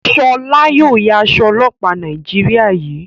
Shola yóò yá Aṣọ ọlọpa Nàìjíríà yí.